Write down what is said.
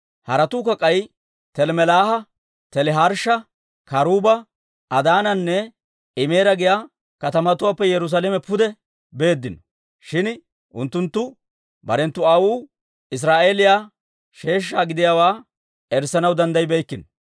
Haratuukka k'ay Telmmelaaha, Teliharshsha, Karuuba, Adaananne Imeera giyaa katamatuwaappe Yerusaalame pude beeddino. Shin unttunttu; barenttu aawotuu Israa'eeliyaa sheeshsha gidiyaawaa erissanaw danddayibeykkino.